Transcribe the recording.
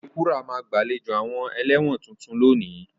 Okekura ma gba àlejò àwon eléwòn tuntun lónìí